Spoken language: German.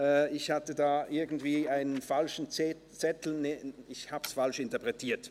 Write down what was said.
Ich habe die Liste vorhin falsch interpretiert.